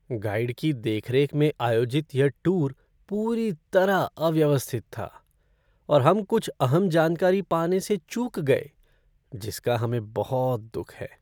Guide की देख रेख में आयोजित यह टूर पूरी तरह अव्यवस्थित था और हम कुछ अहम जानकारी पाने से चूक गए जिसका हमें बहुत दुख है।